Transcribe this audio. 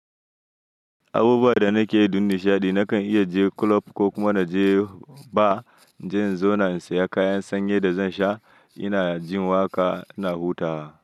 Abubuwa da nake yi don nishaɗi, nakan iya je club ko kuma na je bar, in je in zauna na siya kayan sanyi da zan sha, ina jin waƙa, na huta.